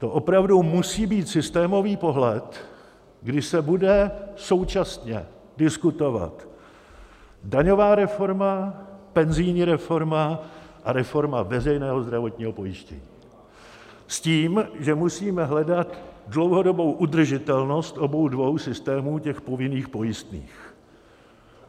To opravdu musí být systémový pohled, kdy se bude současně diskutovat daňová reforma, penzijní reforma a reforma veřejného zdravotního pojištění, s tím, že musíme hledat dlouhodobou udržitelnost obou dvou systémů těch povinných pojistných.